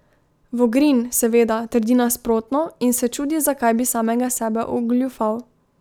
Vogrin, seveda, trdi nasprotno in se čudi, zakaj bi samega sebe ogoljufal.